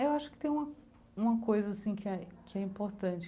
Eu acho que tem uma uma coisa assim que é que é importante.